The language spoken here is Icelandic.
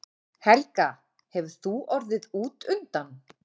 Helga: Hefur þú orðið útundan?